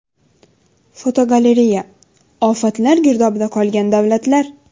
Fotogalereya: Ofatlar girdobida qolgan davlatlar.